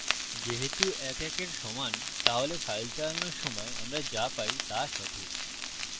যেহেতু ১ ১এর সমান তাহলে file চালানোর সময় আমরা যা পাই তা সঠিক